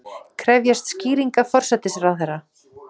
Krefjast skýringa forsætisráðherra